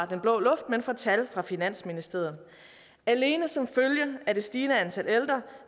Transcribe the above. den blå luft men fra tal fra finansministeriet alene som følge af det stigende antal ældre